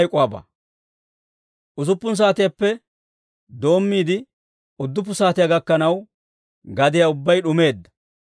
Usuppun saatiyaappe doommiide, udduppu saatiyaa gakkanaw, gadiyaa ubbay d'umeedda.